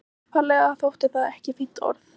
Upphaflega þótti það ekki fínt orð.